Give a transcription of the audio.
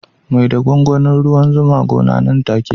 Mai da gwangwanin ruwan zuwa gona nan take